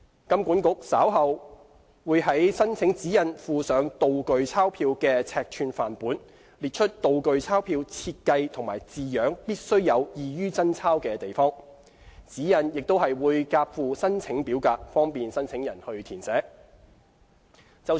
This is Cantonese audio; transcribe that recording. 金管局稍後會在申請指引附上"道具鈔票"的尺寸範本，列出"道具鈔票"設計和字樣必須有異於真鈔之處；指引亦會夾附申請表格，方便申請人填寫。